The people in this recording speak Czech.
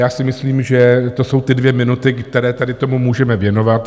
Já si myslím, že to jsou ty dvě minuty, které tady tomu můžeme věnovat.